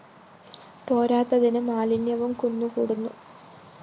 പോരാത്തതിന് മാലിന്യവും കുന്നു കൂടുന്നു